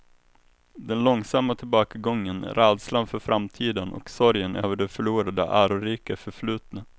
Den långsamma tillbakagången, rädslan för framtiden och sorgen över det förlorade ärorika förflutna.